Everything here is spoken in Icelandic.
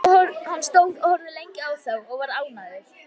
Hann stóð og horfði lengi á þá og var ánægður.